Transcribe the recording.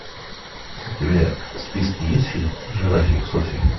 у тебя в списке есть фильм жирафик софи